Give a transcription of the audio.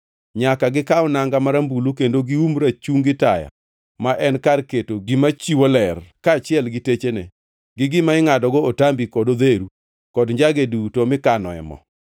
“Nyaka gikaw nanga marambulu kendo gium rachungi taya ma en kar keto gima chiwo ler, kaachiel gi techene, gi gima ingʼadogo otambi kod odheru, kod njage duto mikanoe mo.